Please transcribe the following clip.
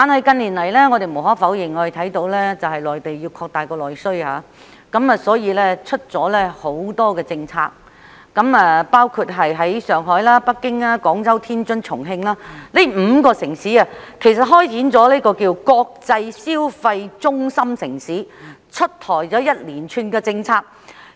近年來，內地要擴大內需，因而推出了很多政策，包括在上海、北京、廣州、天津和重慶這5個城市開展名為"國際消費中心城市"的建設工作，推出一連串政策。